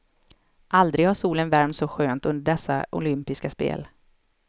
Aldrig har solen värmt så skönt under dessa olympiska spel.